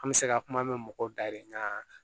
An bɛ se ka kuma mɛn mɔgɔw dayirimɛ